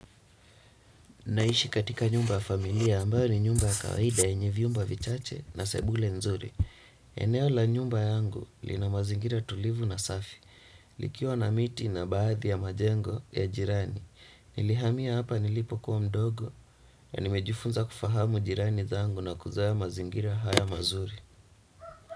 Naishi katika nyumba familia ambayo ni nyumba kawaida yenye viumba vichache na sebule nzuri. Eneo la nyumba yangu lina mazingira tulivu na safi. Likiwa na miti na baadhi ya majengo ya jirani. Nilihamia hapa nilipo kuwa mdogo na nimejufunza kufahamu jirani zangu na kuzoea mazingira haya mazuri.